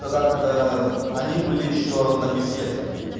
тогда когда они были ещё на беседках